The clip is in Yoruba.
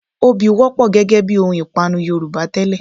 Obì wọ́pọ̀ gẹ́gẹ bí ohun ìpanu Yorùbá tẹ́lẹ̀